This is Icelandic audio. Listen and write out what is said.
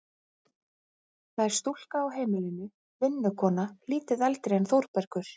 Það er stúlka á heimilinu, vinnukona lítið eldri en Þórbergur.